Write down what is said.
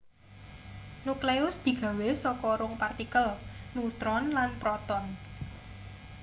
nukleus digawe saka rong partikel nutron lan proton